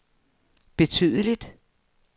betydeligt